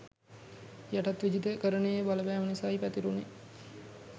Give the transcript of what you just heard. යටත් විජිතකරනයේ බලපැම නිසයි පැතුරුනේ